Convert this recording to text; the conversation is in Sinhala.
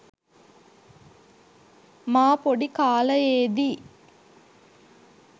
මා පොඩි කාලයේදී